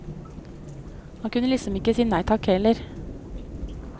Han kunne liksom ikke si nei takk heller.